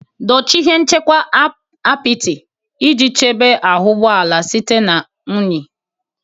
Dochie ihe nchekwa apịtị iji chebe ahụ ụgbọ ala site na unyi.